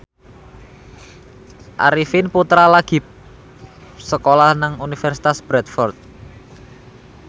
Arifin Putra lagi sekolah nang Universitas Bradford